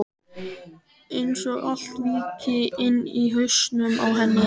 Einsog allt víkki inni í hausnum á henni.